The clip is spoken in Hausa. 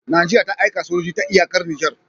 Nigeria ta aika sojojin ta iyakar niger